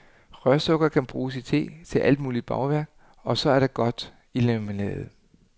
Rørsukker kan bruges i te, til alt muligt bagværk, og så er det godt i limonade.